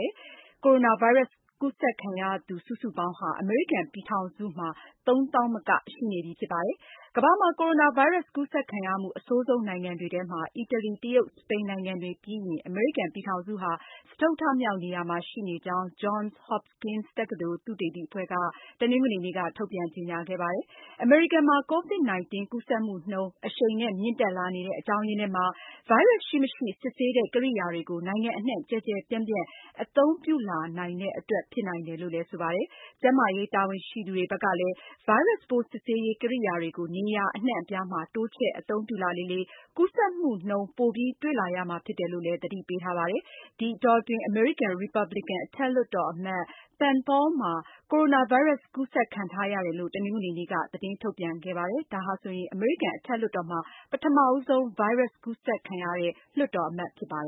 တယ်။ ကိုရိုနာဗိုင်းရပ်စ် ကူးစက်ခံရသူ စုစုပေါင်း အမေရိကန်ပြည်ထောင်စုမှာ ၃၀,၀၀၀ မက ရှိနေပါတယ်။ ကမ္ဘာမှာ ကိုရိုနာဗိုင်းရပ်စ်က ကူးစက်ခံရမှု အမြင့်ဆုံးနိုင်ငံတွေဖြစ်တဲ့ အီတလီ၊ တရုတ်၊ စပိန်နိုင်ငံတွေပြီးရင် အမေရိကန်ပြည်ထောင်စုဟာ စတုတ္ထမြောက် နေရာမှာရှိနေကြောင်း Johns Hopkins တက္ကသိုလ် သုတေသီအဖွဲ့က တနင်္ဂနွေနေ့က ထုတ်ပြန်ကြေညာခဲ့ပါတယ်။ အမေရိကန်မှာ COVID-19 ကူးစက်မှုနှုန်း အရှိန်နဲ့ မြင့်တက်လာနေတဲ့ အကြောင်းအရင်းထဲမှာ ဗိုင်းရပ်စ်ရှိမရှိ စစ်ဆေးတဲ့ ကိရိယာတွေကို နိုင်ငံအနှံ့ ကျယ်ကျယ်ပြန့်ပြန့် အသုံးပြုလာနိုင်တဲ့အတွက် ဖြစ်နိုင်တယ်လို့လည်း ဆိုပါတယ်။ ကျန်းမာရေး တာဝန်ရှိသူတွေဘက်ကလည်း ဗိုင်းရပ်စ်ပိုးစစ်ဆေးရေး ကိရိယာတွေကို နေရာအနှံ့အပြားမှာ တိုးချဲ့အသုံးပြုလာလေလေ ကူးစက်မှုနှုန်း ပိုပြီး တွေ့လာရမှာဖြစ်တယ်လို့ သတိပေးထားပါတယ်။ ဒီအတောအတွင်း အမေရိကန် ရီပတ်ဘလစ်ကန် အထက်လွှတ်တော်အမတ် Rand Paul မှာ ကိုရိုနာဗိုင်းရပ်စ် ကူးစက်ခံထားရတယ်လို့ တနင်္ဂနွေနေ့က သတင်းထုတ်ပြန်ခဲ့ပါတယ်။ ဒါဟာဆိုရင် အမေရိကန် အထက်လွှတ်တော်မှာ ပထမဆုံး ဗိုင်းရပ်စ်ကူးစက်ခံရတဲ့ လွှတ်တော်အမတ်တဦး ဖြစ်ပါ